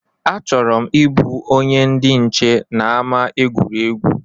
A chọrọ m ịbụ onye ndị nche n’ama egwuregwu